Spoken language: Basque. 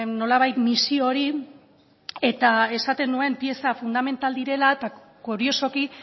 nolabait misio hori eta esaten nuen pieza fundamental direla eta kuriosoki